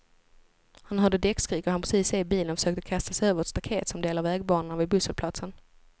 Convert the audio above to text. Han hörde däckskrik och hann precis se bilen och försökte kasta sig över ett staket som delar vägbanorna vid busshållplatsen.